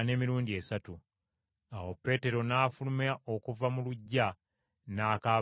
Awo Peetero n’afuluma okuva mu luggya n’akaaba nnyo amaziga!